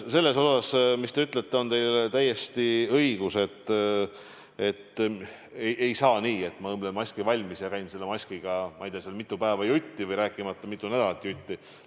Selles, mis te ütlete, on teil täiesti õigus – ei saa nii, et ma õmblen maski valmis ja käin sellega ei tea mitu päeva jutti, rääkimata sellest, et mitu nädalat jutti.